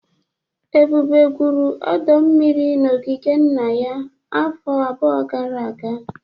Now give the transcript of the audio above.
Ebube gwuru ọdọ mmiri n'ogige nna ya afọ abụọ gara aga